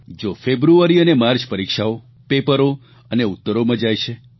જો ફેબ્રુઆરી અને માર્ચ પરીક્ષાઓ પેપરો અને ઉત્તરોમાં જાય છે